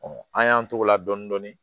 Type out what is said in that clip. an y'an t'o la dɔɔnin dɔɔnin